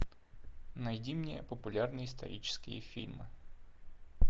найди мне популярные исторические фильмы